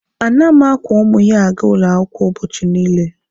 A na m akwọ ụmụ ya aga ụlọ akwụkwọ ụbọchị niile.